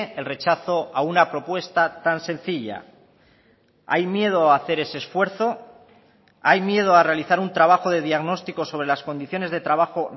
el rechazo a una propuesta tan sencilla hay miedo a hacer ese esfuerzo hay miedo a realizar un trabajo de diagnóstico sobre las condiciones de trabajo